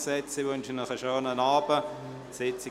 Ich wünsche Ihnen einen schönen Abend.